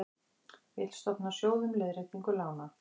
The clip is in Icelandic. Vill stofna sjóð um leiðréttingu lána